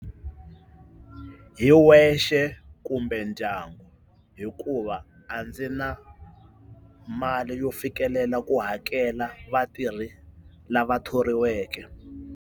Hi wexe kumbe ndyangu hikuva a ndzi na mali yo fikelela ku hakela vatirhi lava thoriweke.